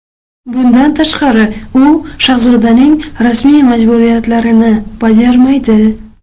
Bundan tashqari, u shahzodaning rasmiy majburiyatlarini bajarmaydi.